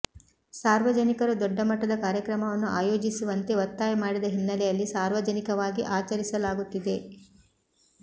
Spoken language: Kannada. ಸಾರ್ವಜನಿಕರು ದೊಡ್ಡ ಮಟ್ಟದ ಕಾರ್ಯಕ್ರಮವನ್ನು ಆಯೋಜಿಸುವಂತೆ ಒತ್ತಾಯ ಮಾಡಿದ ಹಿನ್ನ್ನೆಲೆಯಲ್ಲಿ ಸಾರ್ವಜನಿಕವಾಗಿ ಆಚರಿಸಲಾಗುತ್ತಿದೆ